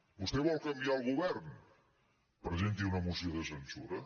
vostè vol canviar el govern presenti una moció de censura